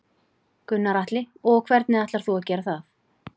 Gunnar Atli: Og hvernig ætlar þú að gera það?